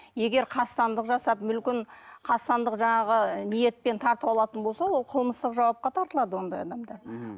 егер қастандық жасап мүлкін қастандық жаңағы ниетпен тартып алатын болса ол қылмыстық жауапқа тартылады ондай адамдар мхм